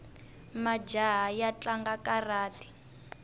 majaha ya tlanga karati